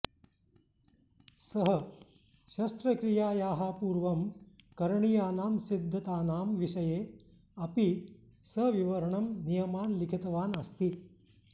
सः शस्त्रक्रियायाः पूर्वं करणीयानां सिद्धतानां विषये अपि सविवरणं नियमान् लिखितवान् अस्ति